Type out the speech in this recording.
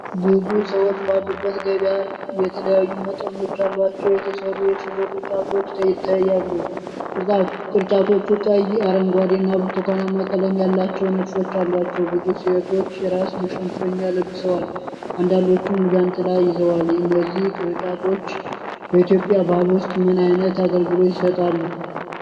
ብዙ ሰዎች ባሉበት ገበያ የተለያዩ መጠኖች ያሏቸው የተሰሩ የሽቦ ቅርጫቶች ይታያሉ። ቅርጫቶቹ ቀይ፣ አረንጓዴ እና ብርቱካናማ ቀለም ያላቸው ንድፎች አሏቸው። ብዙ ሴቶች የራስ መሸፈኛ ለብሰዋል፣ አንዳንዶቹም ዣንጥላ ይዘዋል። እነዚህ ቅርጫቶች በኢትዮጵያ ባህል ውስጥ ምን አይነት አገልግሎት ይሰጣሉ?